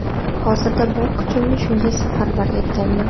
Hozirda bor kuchimni shunga safarbar etganman.